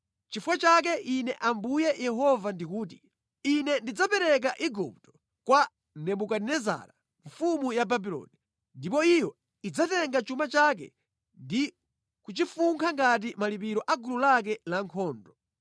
Nʼchifukwa chake Ine Ambuye Yehova ndikuti, Ine ndidzapereka Igupto kwa Nebukadinezara mfumu ya Babuloni, ndipo iyo idzatenga chuma chake ndi kuchifunkha ngati malipiro a gulu lake lankhondo.